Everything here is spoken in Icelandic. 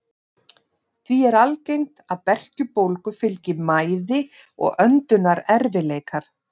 Því er algengt að berkjubólgu fylgi mæði og öndunarerfiðleikar.